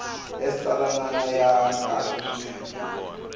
ya xitsalwana ya kahle swinene